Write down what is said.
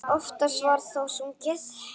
Oftast var þó sungið.